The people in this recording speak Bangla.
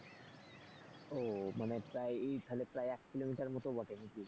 ও মানে প্রায় এই তাহলে প্রায় এক কিলোমিটার মতো বটে নাকি?